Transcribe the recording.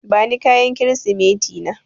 Bani kayan Kirsimeti na.